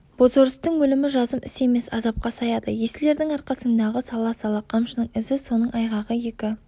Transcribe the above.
бозорыстың өлімі жазым іс емес азапқа саяды есіл ердің арқасыңдағы сала-сала қамшының ізі соның айғағы екі